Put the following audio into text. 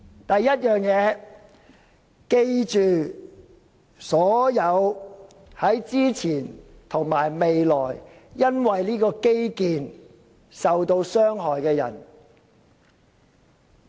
第一，我們要記得所有在之前及未來因為這項基建而受到傷害的人們。